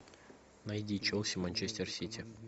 найди челси манчестер сити